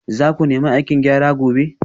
Za ku nemi aikin gyara gobe